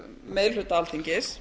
meiri hluta alþingis